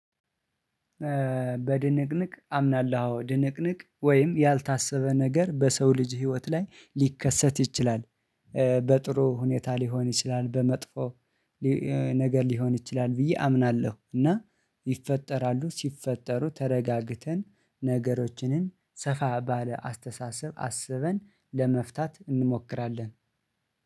በድንቅንቅ አምናለሁ ድንቅንቅ ወይም ያልታሰበ ነገር በሰው ልጅ ህይወት ላይ ሊከሰት ይችላል። በጥሩ ሁኔታ ሊሆን ይችላል። በመጥፎ ነገር ሊሆን ይችላል። ብዬ አምናለሁ። እና ይፈጠራሉ። ሲፈጠሩ ተረጋግተን ነገሮችንም ሰፋ ባለ አስተሳሰብ አስበን ለመፍታት እንሞክራለን